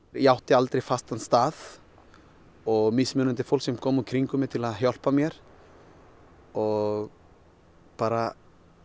ég átti aldrei fastan stað og mismundandi fólk sem kom í kringum mig til að hjálpa mér og bara